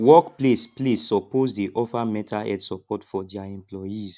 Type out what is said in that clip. work place place soppose dey offer mental health sopport for dia employees